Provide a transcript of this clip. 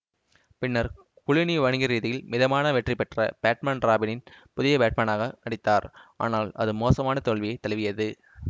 பின்னர் குளூனி வணிகரீதியில் மிதமான வெற்றி பெற்ற பேட்மேன் ராபினில் புதிய பேட்மேனாக நடித்தார் ஆனால் அது மோசமான தோல்வியை தழுவியது